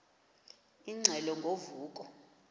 ingxelo ngo vuko